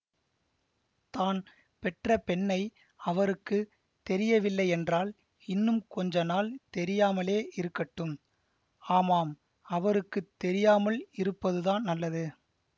தான் பெற்ற பெண்ணை அவருக்கு தெரியவில்லையென்றால் இன்னும் கொஞ்ச நாள் தெரியாமலே இருக்கட்டும் ஆமாம் அவருக்கு தெரியாமல் இருப்பதுதான் நல்லது